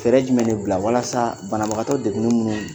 Fɛrɛ jumɛn de bila walasa banabagatɔ degu ne minnu